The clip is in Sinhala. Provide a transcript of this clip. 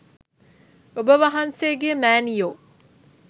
ඔබ වහන්සේගේ මෑණියො